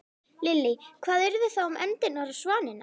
Lillý: Hvað yrði þá um endurnar og svanina?